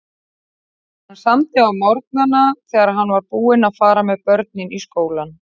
Hann samdi á morgnana þegar hann var búinn að fara með börnin í skólann.